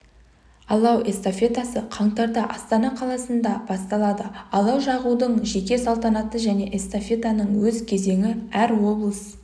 алау эстафетасы қаңтарда астана қаласында басталады алау жағудың жеке салтанаты және эстафетаның өз кезеңі әр облыс